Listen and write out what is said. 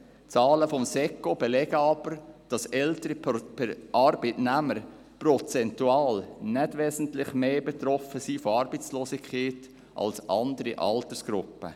Zahlen des Staatssekretariats für Wirtschaft (SECO) belegen aber, dass ältere Arbeitnehmer prozentual nicht wesentlich stärker von Arbeitslosigkeit betroffen sind als andere Altersgruppen.